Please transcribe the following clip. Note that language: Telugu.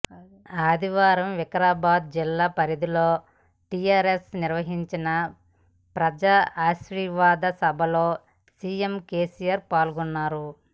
ఆదివారం వికారాబాద్ జిల్లా పరిగిలో టిఆర్ఎస్ నిర్వహించిన ప్రజా ఆశీర్వాద సభలో సిఎం కెసిఆర్ పాల్గొన్నారు